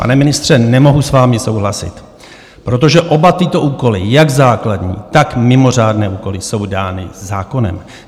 Pane ministře, nemohu s vámi souhlasit, protože oba tyto úkoly, jak základní, tak mimořádné úkoly, jsou dány zákonem.